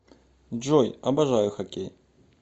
джой обожаю хокей